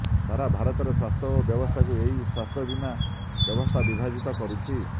ସାରା ଭାରତରେ ସ୍ବାସ୍ଥ୍ୟ ବ୍ୟବସ୍ଥାକୁ ଏହି ସ୍ବାସ୍ଥ୍ୟବୀମା ବ୍ୟବସ୍ଥା ବିଭାଜିତ କରୁଛି